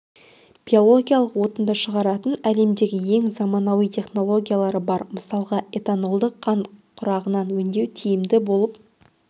биологиялық отынды шығаратын әлемдегі ең заманауи технологиялары бар мысалға этанолды қант құрағынан өндеу тиімді болып